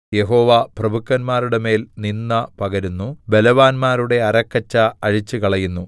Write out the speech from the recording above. യഹോവ പ്രഭുക്കന്മാരുടെമേൽ നിന്ദ പകരുന്നു ബലവാന്മാരുടെ അരക്കച്ച അഴിച്ചുകളയുന്നു